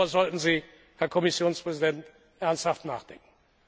Darüber sollten Sie, Herr Kommissionspräsident, ernsthaft nachdenken.